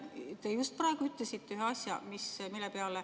Te just praegu ütlesite ühe asja.